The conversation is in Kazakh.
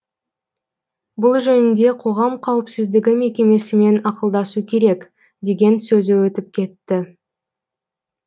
бұл жөнінде қоғам қауіпсіздігі мекемесімен ақылдасу керек деген сөзі өтіп кетті